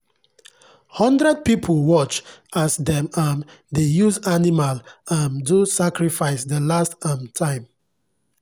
hundred people watch as dem um dey use animal um do sacrifice the last um time